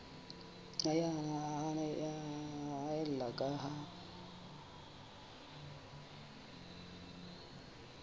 nna ya haella ka ha